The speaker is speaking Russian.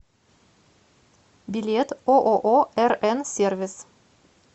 билет ооо рн сервис